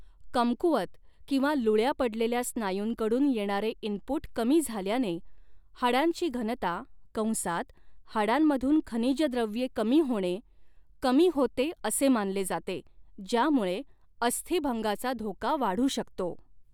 कमकुवत किंवा लुळ्या पडलेल्या स्नायूंकडून येणारे इनपुट कमी झाल्याने हाडांची घनता कंसात हाडांमधून खनिज द्रव्ये कमी होणे कमी होते असे मानले जाते, ज्यामुळे अस्थिभंगाचा धोका वाढू शकतो.